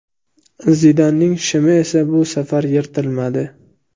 Zidanning shimi esa bu safar yirtilmadi.